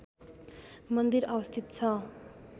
मन्दिर अवस्थित छ